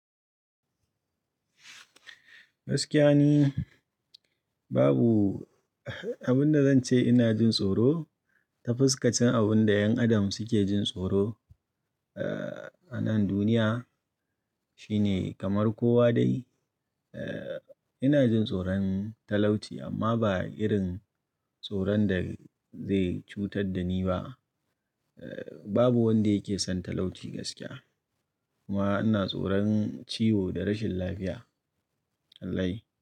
Gaskiya ni babu abin da zan ce ina jin tsoro. Ta fuskar abin da 'yan adam suke jin tsoro eh anan duniya shine kamar kowa dai. Eh ina jin tsoron talauci amma ba irin tsoron da zai cutar da ni ba. Eh babu wanda yake son talauci gaskiya kuma ina tsoron ciwo da rashin lafiya. Wallahi.